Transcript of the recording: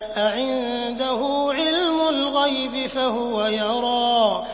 أَعِندَهُ عِلْمُ الْغَيْبِ فَهُوَ يَرَىٰ